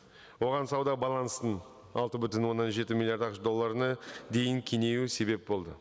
оған сауда баланстың алты бүтін оннан жеті миллиард ақш долларына дейін кеңеюі себеп болды